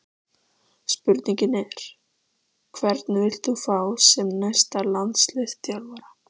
Spurningin er: Hvern vilt þú fá sem næsta landsliðsþjálfara?